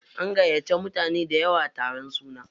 An gayyace mutane dayawa taron suna.